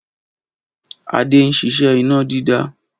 Adé ń ṣiṣẹ́ iná dídá